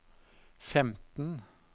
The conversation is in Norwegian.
femten